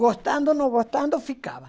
Gostando ou não gostando, ficava.